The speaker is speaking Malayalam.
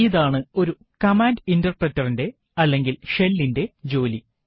ഇതാണ് ഒരു കമാൻഡ് Interpreter ന്റെ അല്ലെങ്കിൽ ഷെല്ലിന്റെ ജോലി